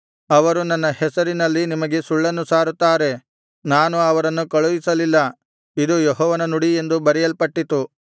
ಅವರು ನನ್ನ ಹೆಸರಿನಲ್ಲಿ ನಿಮಗೆ ಸುಳ್ಳನ್ನು ಸಾರುತ್ತಾರೆ ನಾನು ಅವರನ್ನು ಕಳುಹಿಸಲಿಲ್ಲ ಇದು ಯೆಹೋವನ ನುಡಿ ಎಂದು ಬರೆಯಲ್ಪಟ್ಟಿತು